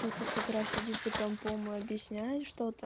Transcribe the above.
с утра сидит за компом объясняешь